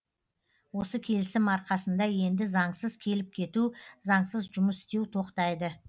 осы келісім арқасында енді заңсыз келіп кету заңсыз жұмыс істеу тоқтайды